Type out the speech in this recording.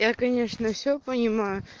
я конечно все понимаю